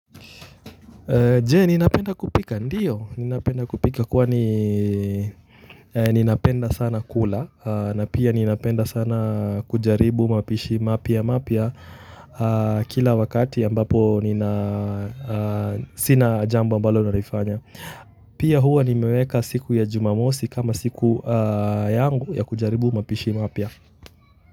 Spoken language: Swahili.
Je, ninapenda kupika? Ndio, ninapenda kupika kwani ninapenda sana kula na pia ninapenda sana kujaribu mapishi mapya mapya kila wakati ambapo nina sina jambo amabalo nalifanya pia huwa nimeweka siku ya Jumamosi kama siku yangu ya kujaribu mapishi mapya.